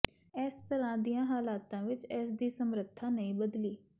ਇਸ ਤਰ੍ਹਾਂ ਦੀਆਂ ਹਾਲਤਾਂ ਵਿਚ ਇਸ ਦੀ ਸਮਰੱਥਾ ਨਹੀਂ ਬਦਲਦੀ